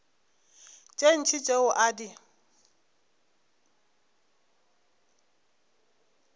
tše ntši tšeo a di